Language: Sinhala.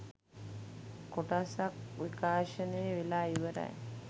කොටස් ක් විකාශනය වෙලා ඉවරයි